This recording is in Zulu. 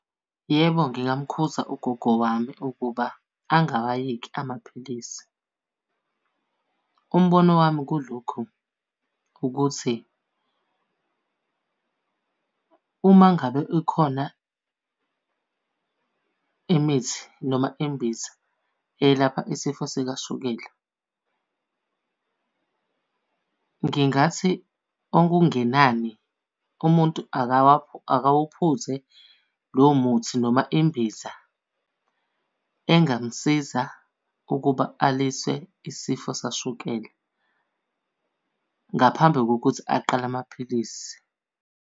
Yebo, ngingamkhuza ugogo wami ukuba angawayeki amaphilisi. Umbono wami kulokhu ukuthi, uma ngabe ikhona imithi noma imbiza eyelapha isifo sikashukela, ngingathi okungenani umuntu akawuphuze lowo muthi noma imbiza engamsiza ukuba aliswe isifo sikashukela, ngaphambi kokuthi aqale amaphilisi.